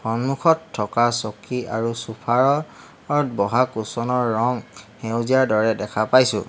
সন্মুখত থকা চকী আৰু চোফাৰ ৰত বহা কুচন ৰ ৰং সেউজীয়া দৰে দেখা পাইছোঁ।